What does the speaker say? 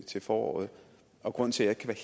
til foråret og grunden til at jeg